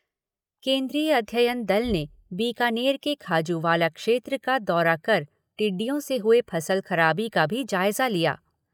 केन्द्रीय अध्ययन दल ने बीकानेर के खाजूवाला क्षेत्र का दौरा कर टिड्डियों से हुए फसल खराबी का भी जायजा लिया।